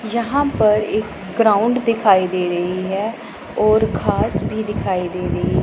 यहां पर एक ग्राउंड दिखाई दे रही है और घास भी दिखाई दे रही है।